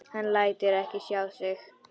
Lætur ekki sjá sig.